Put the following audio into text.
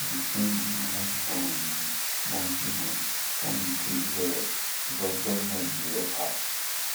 the single mama um monthly money come increase well because government dey help her